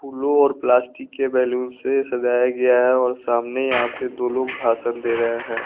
फ़ूलो और प्लास्टिक के बैलून से सजाया गया है और सामने यहां पे दो लोग भाषण दे रहे हैं।